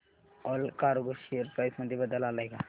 Allcargo share price मध्ये बदल आलाय का